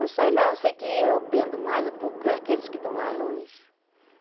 Eu sei lá, eu sei que eu pendo mais é por aqueles que estão lá longe.